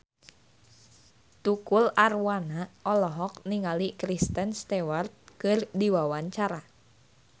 Tukul Arwana olohok ningali Kristen Stewart keur diwawancara